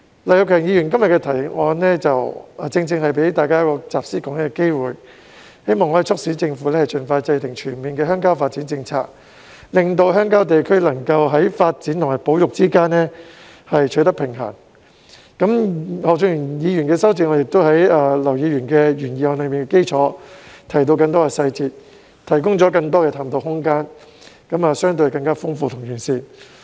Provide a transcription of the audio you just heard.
劉業強議員今天的議案正正給大家一個集思廣益的機會，希望可以促請政府盡快制訂全面的鄉郊發展政策，令鄉郊地區能夠在發展與保育之間取得平衡；而何俊賢議員的修正案亦在劉議員的原議案基礎上加入更多細節，提供更多的探討空間，相對更豐富和完善。